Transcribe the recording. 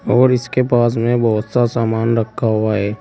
और इसके पास में बहुत सा सामान रखा हुआ है।